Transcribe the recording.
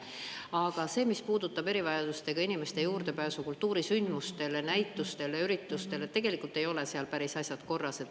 Aga sellega, mis puudutab erivajadustega inimeste juurdepääsu kultuurisündmustele, näitustele, üritustele, ei ole asjad päris korras.